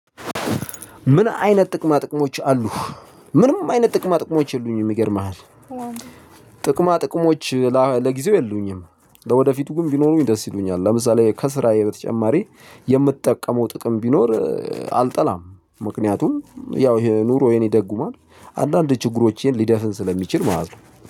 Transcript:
ምን አይነት ጥቅማ ጥቅሞች አሉህ? ምንም አይነት ጥቅማ ጥቅሞች የሉኝም ይገርምሃል ጥቅማ ጥቅሞች ለጊዜው የሉኝም ለወደፊቱ ግን ቢኖሩኝ ደስ ይሉኛል ለምሳሌ ከስራዬ በተጨማሪ የምትጠቀመው ጥቅም ቢኖር አልጠላም። ምክንያቱም ያው ይሄ ኑሮዬን ይደጉሟል አንዳንድ ችግሮቼን ሊደፍን ስለሚችል ማለት ነው።